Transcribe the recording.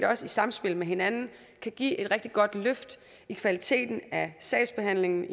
også i samspil med hinanden kan give et rigtig godt løft i kvaliteten af sagsbehandlingen